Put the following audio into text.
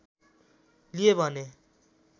लिए भने